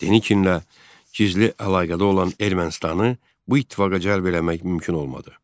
Denikinlə gizli əlaqədə olan Ermənistanı bu ittifaqa cəlb eləmək mümkün olmadı.